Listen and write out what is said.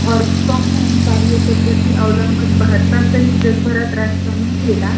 work from home कार्यपद्धती अवलंबन भारतासहित जगभरात राष्ट्रांनी केला ,